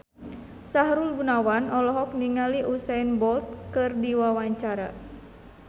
Sahrul Gunawan olohok ningali Usain Bolt keur diwawancara